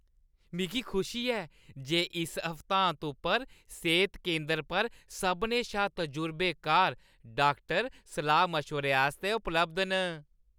मिगी खुशी ऐ जे इस हफ्तांत उप्पर सेह्त केंदर पर सभनें शा तजुर्बेकार डाक्टर सलाह्-मशवरे आस्तै उपलब्ध न।